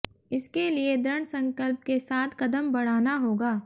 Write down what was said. इसके लिए दृढ संकल्प के साथ कदम बढ़ाना होगा